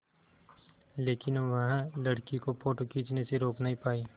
लेकिन वह लड़की को फ़ोटो खींचने से रोक नहीं पाई